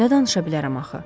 Nə danışa bilərəm axı?